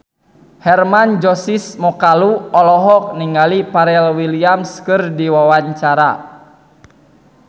Hermann Josis Mokalu olohok ningali Pharrell Williams keur diwawancara